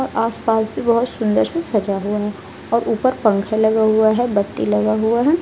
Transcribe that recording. और आस-पास भी बहोत सुंदर से सजा हुआ है और ऊपर पंखे लगा हुआ है बत्ती लगा हुआ है।